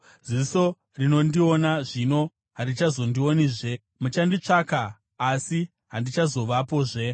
Ziso rinondiona zvino harichazondionizve; muchanditsvaka, asi handichazovapozve.